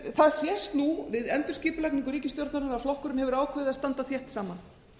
það sést nú við endurskipulagningu ríkisstjórnarinnar að flokkurinn hefur ákveðið að standa þétt saman